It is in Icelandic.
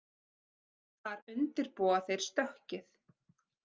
Þar undirbúa þeir stökkið